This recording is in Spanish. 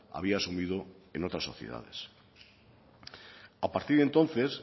había asumido en otras sociedades a partir de entonces